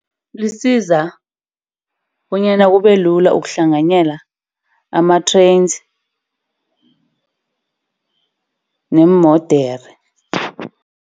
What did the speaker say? Lisiza bonyana kubelula ukuhlanganyela ama-trains neemodera.